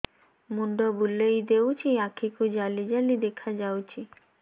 ମୁଣ୍ଡ ବୁଲେଇ ଦେଉଛି ଆଖି କୁ ଜାଲି ଜାଲି ଦେଖା ଯାଉଛି